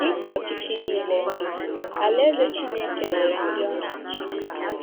Dị ka ọchịchị nile, Alaeze Chineke nwere ndị ọ na-achị.